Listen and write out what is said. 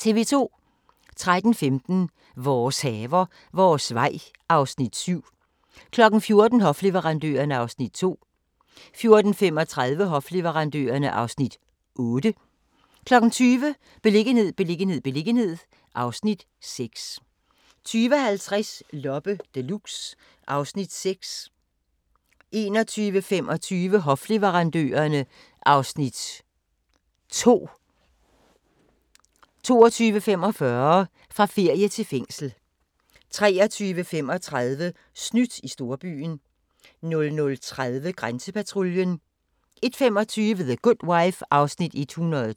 13:15: Vores haver, vores vej (Afs. 7) 14:00: Hofleverandørerne (Afs. 2) 14:35: Hofleverandørerne (Afs. 8) 20:00: Beliggenhed, beliggenhed, beliggenhed (Afs. 6) 20:50: Loppe Deluxe (Afs. 6) 21:25: Hofleverandørerne (Afs. 2) 22:45: Fra ferie til fængsel 23:35: Snydt i storbyen 00:30: Grænsepatruljen 01:25: The Good Wife (112:156)